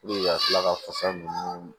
ka kila ka kɔfɛn ninnu